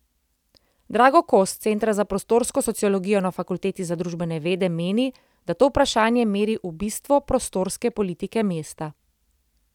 Drago Kos s centra za prostorsko sociologijo na fakulteti za družbene vede meni, da to vprašanje meri v bistvo prostorske politike mesta.